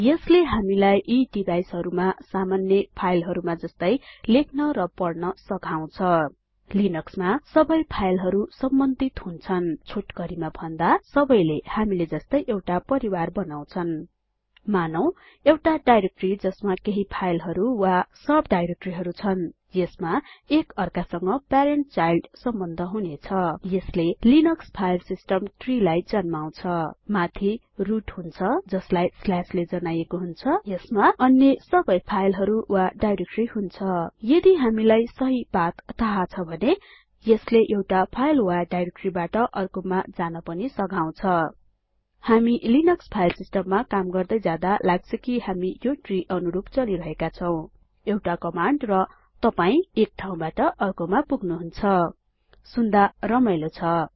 यसले हामीलाई यी डिभाइसहरुमा सामान्य फाइलहरुमा जस्तै लेख्न र पढ्न सघाउछ लिनक्समा सबै फाइलहरु सम्बन्धित हुन्छन छोटकरीमा भन्दा सबैले हामीले जस्तै एउटा परिवार बनाउछन मानौं एउटा डाइरेक्टरी जसमा केहि फाइलहरु वा सब डाइरेक्टरीहरु छन्यसमा एक अर्कासंग प्यारेन्ट चाइल्ड सम्बन्ध हुनेछ यसले लिनक्स फाइल सिस्टम ट्री लाई जन्माउछ माथि रुट हुन्छ स्ल्याशले जनाईएको हुन्छ यसमा अन्य सबै फाइलहरु र डाइरेक्टरी हुन्छ यदि हामीलाई सहि पाथ थाहा छ भने यसले एउटा फाइल वा डाइरेक्टरीबाट अर्कोमा जान पनि सघाउछ हामी लिनक्स फाइल सिस्टममा काम गर्दै जादालाग्छ कि हामी यो ट्री अनुरुप चलिरहेका छौं एउटा कमाण्ड र तपाई एक ठाउँबाट अर्कोमा पुग्नुहुन्छ सुन्दा रमाइलो छ